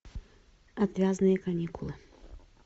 отвязные каникулы